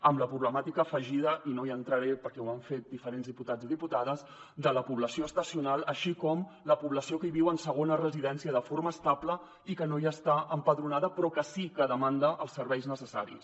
amb la problemàtica afegida i no hi entraré perquè ho han fet diferents diputats i diputades de la població estacional així com la població que hi viu en segona residència de forma estable i que no hi està empadronada però que sí que demanda els serveis necessaris